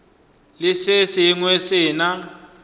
le se sengwe se na